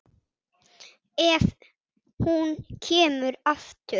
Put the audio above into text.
Ef hún kemur aftur.